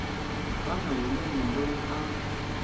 tani hi munhu loyi a